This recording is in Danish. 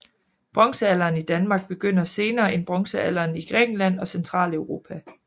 Bronzealderen i Danmark begynder senere end bronzealderen i Grækenland og Centraleuropa